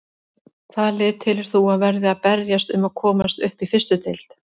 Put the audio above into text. Hvaða lið telur þú að verði að berjast um að komast upp í fyrstu deild?